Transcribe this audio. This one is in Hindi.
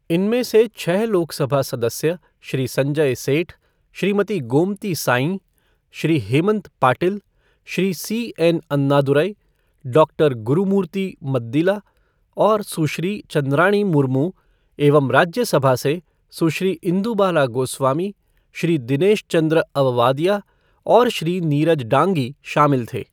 इनमें से छः लोकसभा सदस्य श्री संजय सेठ, श्रीमती गोमती साईं, श्री हेमंत पाटिल, श्री सी एन.अन्नादुरई, डॉक्टर गुरुमूर्ति मद्दिला और सुश्री चंद्राणी मुर्मू एवं राज्यसभा से सुश्री इंदु बाला गोस्वामी, श्री दिनेश चंद्रअववादिया और श्री नीरज डांगी शामिल थे।